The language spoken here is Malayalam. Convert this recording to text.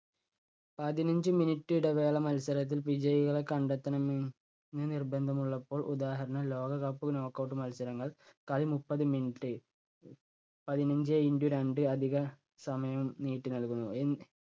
പതിനഞ്ച് minute ഇടവേള മത്സരത്തിൽ വിജയികളെ കണ്ടെത്തണമെ~ന്ന് നിർബന്ധമുള്ളപ്പോൾ ഉദാഹരണം ലോകകപ്പ് knock out മത്സരങ്ങൾ കളി മുപ്പത് minute പതിനഞ്ചേ into രണ്ട് അധിക സമയം നീട്ടി നൽകുന്നു. എന്നി